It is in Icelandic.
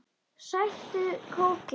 Sæktu kókið.